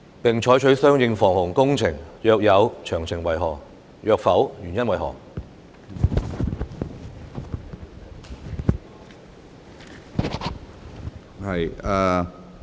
並採取相應防洪工程；若有，詳情為何；若否，原因為何？